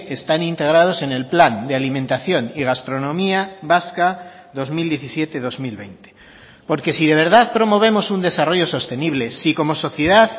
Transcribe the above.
están integrados en el plan de alimentación y gastronomía vasca dos mil diecisiete dos mil veinte porque si de verdad promovemos un desarrollo sostenible si como sociedad